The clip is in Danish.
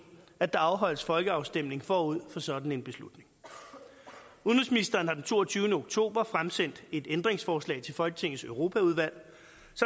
at der afholdes folkeafstemning forud for sådan en beslutning udenrigsministeren har den toogtyvende oktober fremsendt et ændringsforslag til folketingets europaudvalg